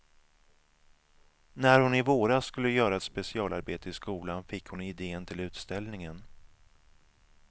När hon i våras skulle göra ett specialarbete i skolan fick hon idén till utställningen.